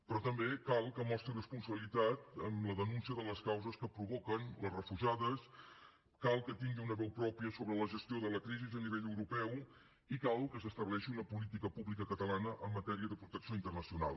però també cal que mostri responsabilitat amb la denúncia de les causes que provoquen les refugiades cal que tingui una veu pròpia sobre la gestió de la crisi a nivell europeu i cal que s’estableixi una política pública catalana en matèria de protecció internacional